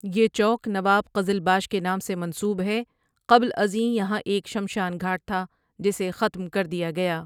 یہ چوک نواب قزلباش کے نام سے منسوب ہے قبل ازیں یہاں ایک شمشان گھاٹ تھا جسے ختم کر دیا گیا ۔